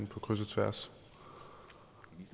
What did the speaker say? på kryds og tværs